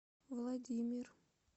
владимир